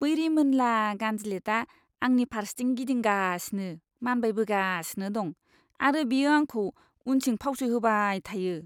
बै रिमोनला गान्दिलेथआ आंनि फारसेथिं गिदिंगासिनो मानबायबोगासिनो दं आरो बियो आंखौ उनथिं फावसयहोबाय थायो।